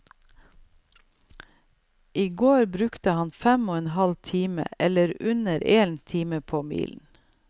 I går brukte han fem og en halv time, eller under én time på milen.